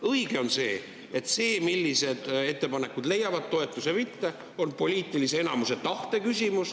Õige on see, et see, millised ettepanekud leiavad toetuse, on poliitilise enamuse tahte küsimus.